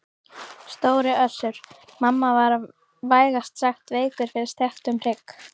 Stóri Össur-Mamma var vægast sagt veikur fyrir steiktum hrygg.